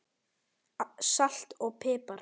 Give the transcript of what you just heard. Salt og pipar